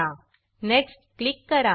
next next click करा